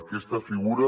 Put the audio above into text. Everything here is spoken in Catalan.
aquesta figura